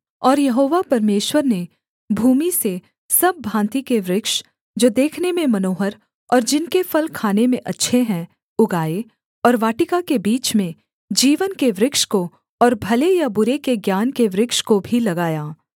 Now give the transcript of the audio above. और यहोवा परमेश्वर ने भूमि से सब भाँति के वृक्ष जो देखने में मनोहर और जिनके फल खाने में अच्छे हैं उगाए और वाटिका के बीच में जीवन के वृक्ष को और भले या बुरे के ज्ञान के वृक्ष को भी लगाया